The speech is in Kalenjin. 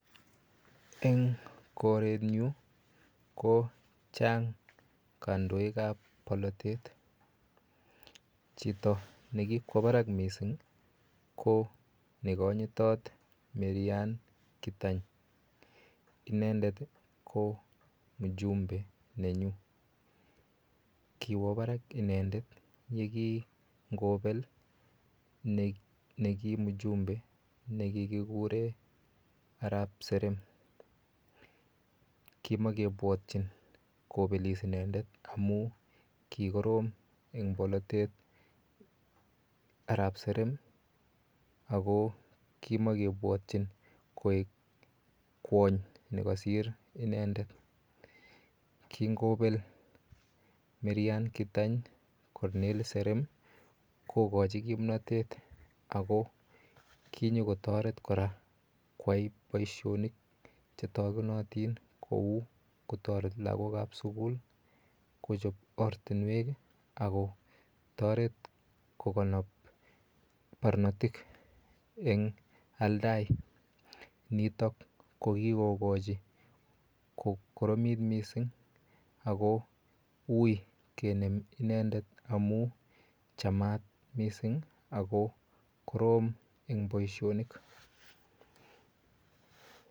Eng koret nyu kochang kandoik ap polotet chito nekikwo barak mising ko nekonyitot marryan kitany lakini inendet ko mjumbe nenyu kiwo Barak inendet yekingopel nekimjumbe nekikikure arap serem kimakepwotchin kopelis inendet amu ki korom eng polotet arap serem ako kimakepwotchin koek kwony nekasir inendet kingopel marryan kitany colnery serem kokochi kimnotet ako kinyokotoret kora koyai boishonik chetokunotin kou kotoret lakok ap sukul kochop ortunwek akotoret kokonop parnotik eng aldai nitok ko kikokochi kokoromit mising ako ui kenem inendet amun chamat mising ako korom eng boishonik.